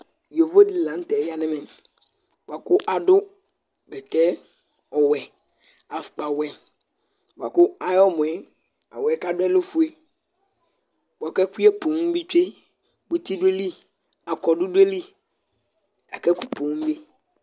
Yovo di la nu tɛ ya nu ɛmɛ, bʋa ku adu bɛtɛ ɔwɛ, afukpa wɛ, bʋa ku ayi ɔmɔ yɛ , awuɛ ka du yɛ lɛ ofue bʋa ku ɛkuyɛ pum bi tsʋe muti du ayi li , akɔdu du ayi li la ku ɛkɛ pum bi